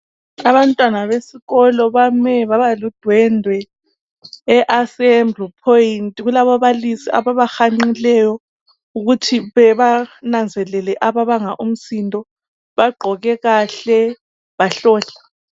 Abantwana besikolo bame baba ludwendwe e assembly point kulaba balisi ababa hanqileyo ukuze benanzelele ababanga umsindo bagqoke kahle bahlohla.